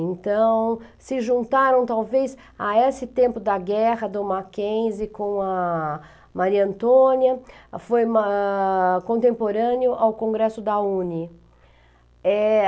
Então, se juntaram talvez a esse tempo da guerra do Mackenzie com a Maria Antônia, foi uma... contemporâneo ao Congresso da Uni.